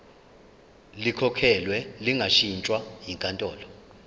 likhokhelwe lingashintshwa yinkantolo